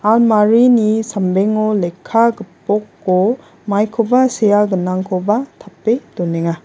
almarini sambengo lekka gipoko maikoba sea gnangkoba tape donenga.